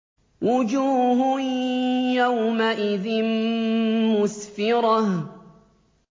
وُجُوهٌ يَوْمَئِذٍ مُّسْفِرَةٌ